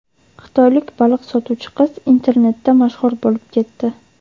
Xitoylik baliq sotuvchi qiz internetda mashhur bo‘lib ketdi.